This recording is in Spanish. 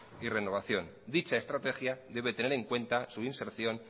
y renovación dicha estrategia debe tener en cuenta su inserción